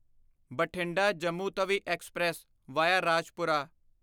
Bathinda Jammu Tawi express via Rajpura